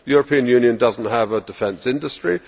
The European Union does not have a defence industry.